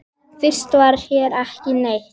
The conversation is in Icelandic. Fyrst var hér ekki neitt.